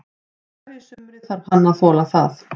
Á hverju sumri þarf hann að þola það.